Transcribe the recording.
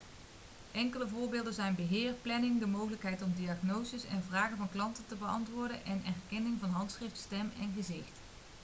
enkele voorbeelden zijn beheer planning de mogelijkheid om diagnoses en vragen van klanten te beantwoorden en herkenning van handschrift stem en gezicht